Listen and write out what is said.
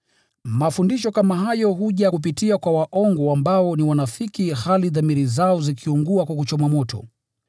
Mafundisho kama hayo huja kupitia kwa waongo ambao ni wanafiki, hali dhamiri zao zikiungua kwa kuchomwa moto.